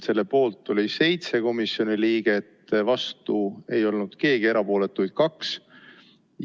Selle poolt oli 7 komisjoni liiget, vastu ei olnud keegi, erapooletuid oli 2.